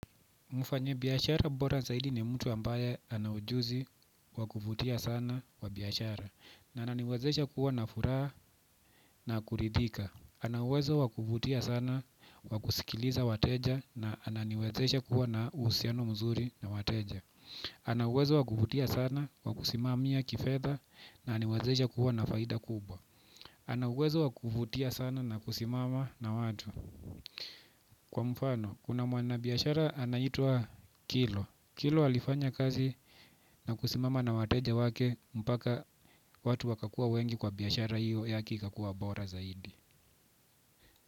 Mfanyi biashara bora zaidi ni mtu ambaye anaujuzi wakuvutia sana kwa biashara. Na ananiwezesha kuwa na furaha na kuridhika. Anauwezo wakuvutia sana kwa kusikiliza wateja na ananiwezesha kuwa na uhusiano mzuri na wateja. Anauwezo wakuvutia sana kwa kusimamia kifedha na ananiwezesha kuwa na faida kubwa. Anauwezo wakuvutia sana na kusimama na watu. Kwa mfano, kuna mwana biashara anaitwa kilo Kilo alifanya kazi na kusimama na wateja wake mpaka watu wakakua wengi kwa biashara hiyo yake ikakua bora zaidi.